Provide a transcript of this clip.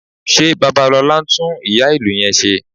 Ṣé Babalọlá ń tún ìyá-ìlù yẹn ṣe?